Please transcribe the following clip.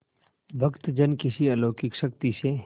भक्तजन किसी अलौकिक शक्ति से